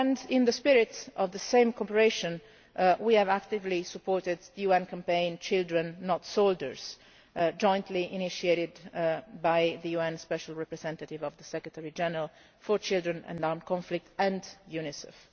In the spirit of the same cooperation we have actively supported the UN campaign Children, Not Soldiers', jointly initiated by the UN Special Representative of the Secretary General for Children and Armed Conflict, and UNICEF.